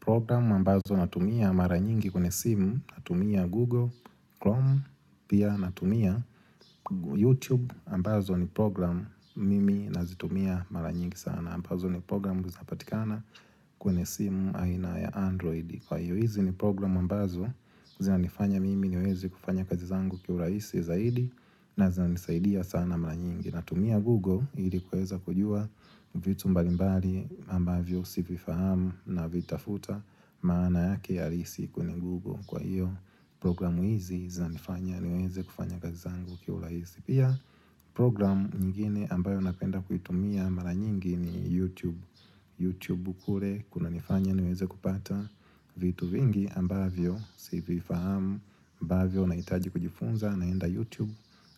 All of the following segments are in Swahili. Programu ambazo natumia mara nyingi kwenye simu, natumia Google, Chrome, pia natumia YouTube, ambazo ni programu mimi nazitumia mara nyingi sana, ambazo ni programu zinapatikana kwenye simu aina ya Android. Kwa hiyo hizi ni programu ambazo zinanifanya mimi niweze kufanya kazi zangu kia urahisi zaidi na zinanisaidia sana mara nyingi Natumia Google ilikuweza kujua vitu mbalimbali ambavyo sivifahamu na vitafuta maana yake ya risiku ni Google Kwa hiyo programu hizi zinanifanya niweze kufanya kazi zangu kwa urahisi Pia programu nyingine ambayo napenda kuitumia mara nyingi ni YouTube Youtube kule kunanifanya niweze kupata vitu vingi ambavyo si vifahamu ambavyo nahitaji kujifunza naenda Youtube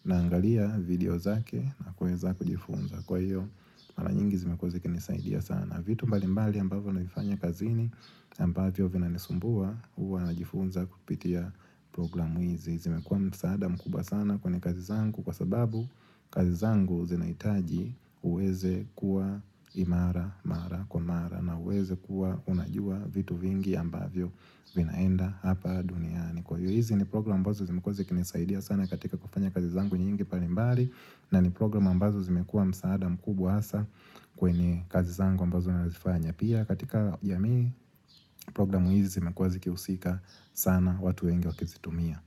naangalia video zake na kuweza kujifunza Kwa hiyo mara nyingi zimekuwa zikinisaidia sana vitu mbali mbali ambavyo naifanya kazini ambavyo vinanisumbua huwa najifunza kupitia programu hizi zimekuwa msaada mkubwa sana kwenye kazi zangu kwa sababu kazi zangu zinahitaji uweze kuwa imara, mara, kwa mara na uweze kuwa unajua vitu vingi ambavyo vinaenda hapa duniani Kwa hiyo hizi ni programu ambazo zimekuwa zikinisaidia sana katika kufanya kazi zangu nyingi mbalimbali na ni programu ambazo zimekuwa msaada mkubwa hasa kwenye kazi zangu ambazo zifanya Pia katika jamii programu hizi zimekuwa zikihusika sana watu wengi wakizitumia.